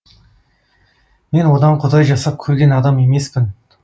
мен одан құдай жасап көрген адам емеспін